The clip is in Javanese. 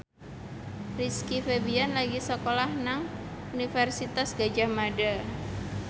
Rizky Febian lagi sekolah nang Universitas Gadjah Mada